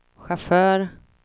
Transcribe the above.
chaufför